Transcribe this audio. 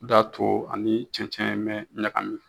O y'a to a ni cɛncɛn mɛ ɲagami